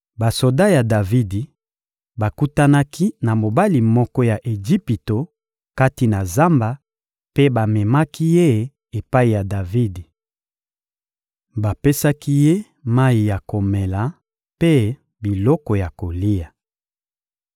Basoda ya Davidi bakutanaki na mobali moko ya Ejipito kati na zamba mpe bamemaki ye epai ya Davidi. Bapesaki ye mayi ya komela mpe biloko ya kolia.